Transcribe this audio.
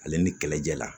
Ale ni kɛlɛjɛla